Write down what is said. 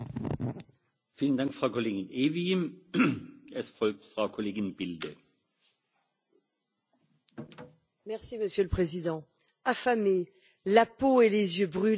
Monsieur le Président, affamés, la peau et les yeux brûlés, ils sont des milliers condamnés chaque année à des souffrances effroyables dans les sous sols obscurs de laboratoires scientifiques mondiaux.